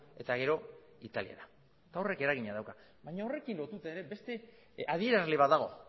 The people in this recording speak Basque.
eta gero italiara horrek eragina dauka baina horrekin lotuta ere beste adierazle bat dago